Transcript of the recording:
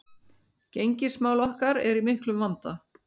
Gengismál okkar eru í miklum vanda